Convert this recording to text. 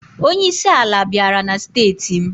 Onyeisi ala bịara na steeti m.